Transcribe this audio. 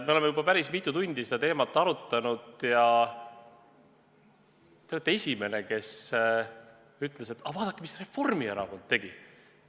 Me oleme juba päris mitu tundi seda teemat arutanud ja te olete esimene, kes ütles, et aga vaadake, mis Reformierakond tegi.